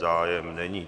Zájem není.